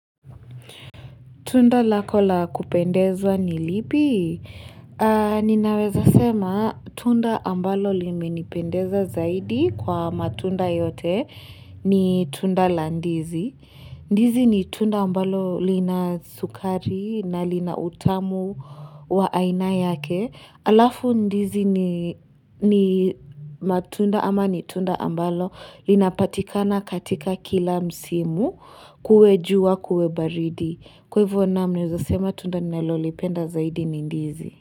Tunda lako lakupendezwa ni lipi? Ninaweza sema tunda ambalo limenipendeza zaidi kwa matunda yote ni tunda la ndizi. Ndizi ni tunda ambalo lina sukari na lina utamu wa aina yake. Alafu ndizi ni matunda ama ni tunda ambalo linapatikana katika kila msimu kuwejua kuwebaridi. Kwevu wanam nina zasema tunda nalolipenda zaidi ni ndizi.